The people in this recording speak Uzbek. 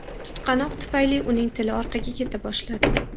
Tutqanoq tufayli uning tili orqaga keta boshladi.